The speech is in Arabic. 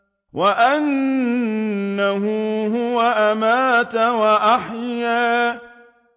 وَأَنَّهُ هُوَ أَمَاتَ وَأَحْيَا